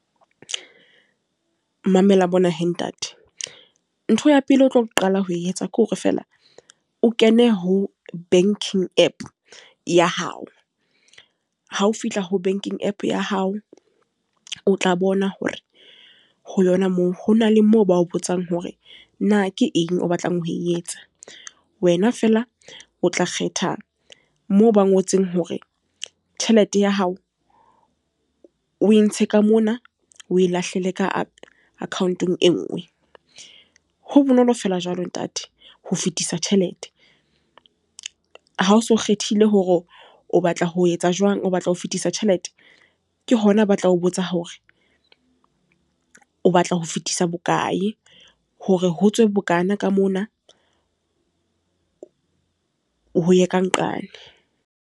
Mamela mona he ntate. Ntho ya pele o tlo qala ho e etsa ke hore fela, o kene ho banking app ya hao. Ha o fihla ho banking app ya hao. O tla bona hore ho yona moo, ho na le mo bao bitsang hore na ke eng o batlang ho e etsa. Wena fela o tla kgetha moo ba ngotseng hore tjhelete ya hao, o e ntshe ka mona o lahlele ka account-ong e nngwe. Ho bonolo feela jwalo ntate, ho fetisa tjhelete. Ha o so kgethile hore o batla ho etsa jwang, o batla ho fetisa tjhelete. Ke hona batla ho botsa hore o batla ho fetisa bokae. Hore ho tswe bokana ka mona ho ye ka nqane.